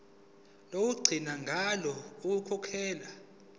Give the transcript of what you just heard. lokugcina ngalo ukukhokhela